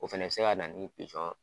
O fɛnɛ be se ka na ni